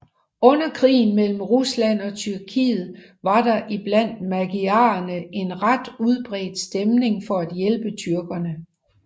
Under Krigen mellem Rusland og Tyrkiet var der iblandt magyarerne en ret udbredt stemning for at hjælpe tyrkerne